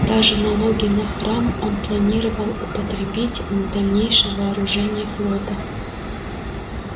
даже налоги на храм он планировал употребить на дальнейшее вооружение флота